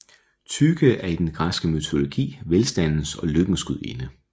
Tyche er i den græske mytologi velstandens og lykkens gudinde